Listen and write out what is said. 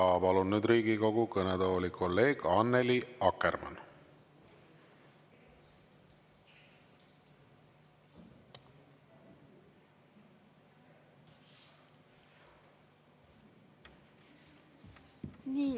Ja palun nüüd Riigikogu kõnetooli kolleeg Annely Akkermanni.